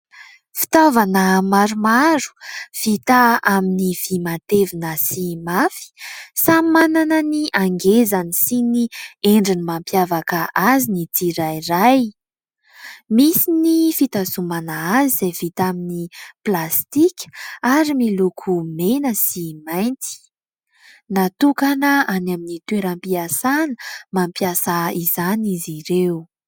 Fitaovana maromaro vita amin'ny vy matevina sy mafy, samy manana ny hangezany sy ny endrika mampiavaka azy ny tsirairay. Misy ny fitazomana azy izay vita amin'ny plastika ary miloko mena sy mainty. Natokana any amin'ny toeram-piasana mampiasa izany izy ireo.